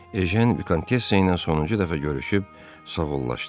Ejən Vikontessa ilə sonuncu dəfə görüşüb sağollaşırdı.